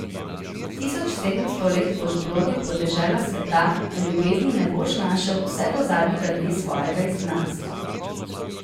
Tisoč sedemsto let boš blodil po deželah sveta, a ljubezni ne boš našel vse do zadnjega dne svojega izgnanstva.